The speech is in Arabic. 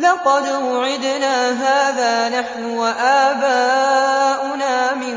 لَقَدْ وُعِدْنَا هَٰذَا نَحْنُ وَآبَاؤُنَا مِن